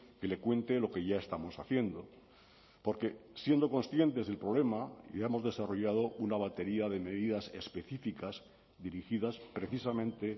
que le cuente lo que ya estamos haciendo porque siendo conscientes del problema ya hemos desarrollado una batería de medidas específicas dirigidas precisamente